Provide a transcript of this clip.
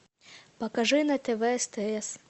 покажи на тв стс